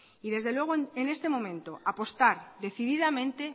y desde luego en este momento apostar decididamente